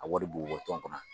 A wari bi bɔ tɔn kunna